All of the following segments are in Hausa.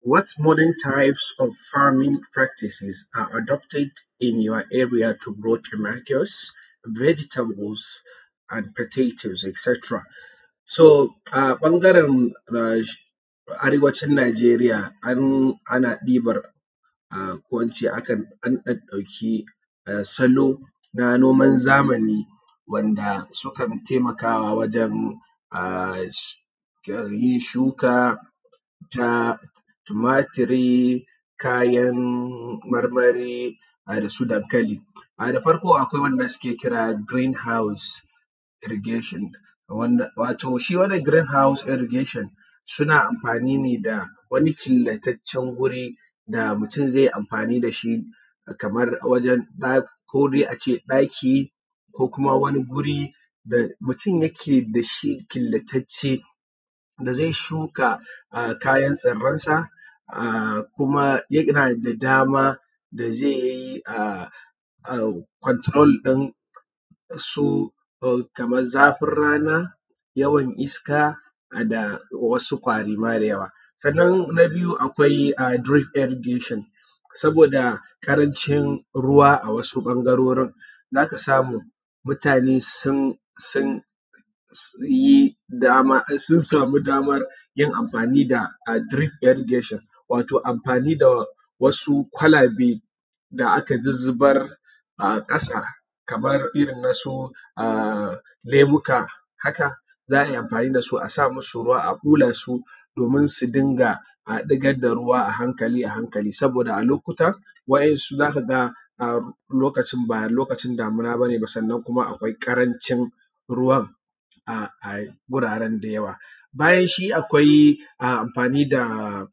What modern tribes of farming practices are adopted in your area to grow the tomatoes, vegetables and potatoes. A ɓangaren arewacin Najeriya an ɗauɗɗauki salo na noman zamani wanda sukan taimakawa wajan a yi shuka ta tumaturi, kayan marmari, da su dankali. Da farko akwai abun da suke kira green house irrigation, wato shi wannan green house irrigation suna amfani ne da wani killataccen guri da mutum zai yi amfani da shi kaman wajan ko dai a ce ɗaki, ko kuma wani guri da mutum yake da shi killatacce da zai shuka kayan tsirransa, kuma yana da daman da zai yi control din su kaman zafin rana, yawan iska, da wasu ƙwari ma da yawa. Sannan na biyu ma akwai dreaf irrigation saboda ƙaranci ruwa a wasu ɓangarorin, za ka samu mutane sun samu daman yin amfani da dreaf irrigation, wato amfani da wasu kwalabe da aka zuzzubar a ƙasa kamar irinsu na su lemuka haka, za a yi amfani da su, a sa musu ruwa a ɓula su haka domin su dinga ɗigar da ruwa a hankali a hankali saboda a lokutan wa’insu za ka ga lokacin ba lokacin damina bane, sannan kuma akwai ƙarancin ruwan a guraren da yawa. Bayan shi akwai amfani da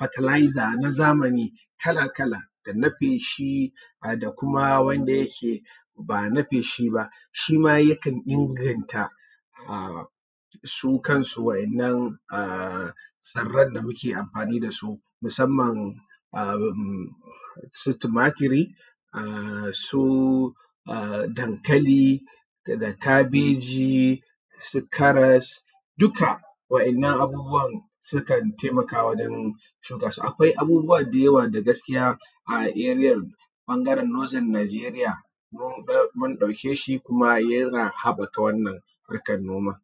fertilizer na zamani kala kala, da na feshi, da kuma wanda ya ke bana feshi ba, shi ma yakan inganta su kansu wa'innan tsirran da muke amfani da su musamman su tumaturi, su dankali, da kabeji, su karas, duka wa'innan abubuwan sukan taimakawa wajan shuka su. Akwai abubuwan da yawa da gaskiya area ɓangaren nothern nigeria mun ɗauke shi kuma yana haɓɓaka wannan harkan noman.